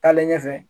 Taalen ɲɛfɛ